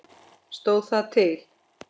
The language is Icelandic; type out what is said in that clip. Stóð það til?